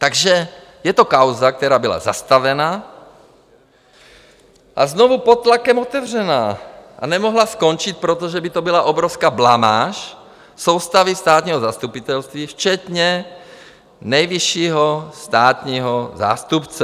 Takže je to kauza, která byla zastavena a znovu pod tlakem otevřena, a nemohla skončit, protože by to byla obrovská blamáž soustavy státního zastupitelství včetně nejvyššího státního zástupce.